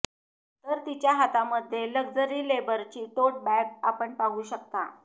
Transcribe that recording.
तर तिच्या हातामध्ये लग्जरी लेबरची टोट बॅग आपण पाहू शकता